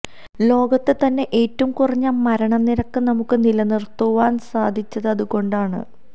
ലോകത്തെ തന്നെ ഏറ്റവും കുറഞ്ഞ മരണനിരക്ക് നമുക്ക് നിലനിര്ത്തുവാന് സാധിച്ചത് അതുകൊണ്ടാണ്